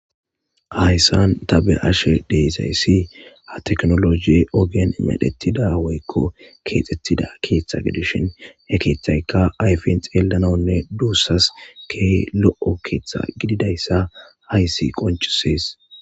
Hayssan tabe ashe deezayssi ha teknologie ogen medhettida woykko keexxettida keeththa gidishin he keeththaykka ayfin xeellanonne duussas ke lo7o keeththa gididayssa hayssi qoncisees.